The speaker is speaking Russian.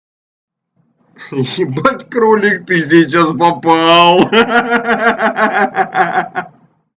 ебать кролик ты сейчас попал ха-ха